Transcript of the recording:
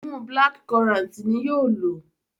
imú black currant ní yóò ló.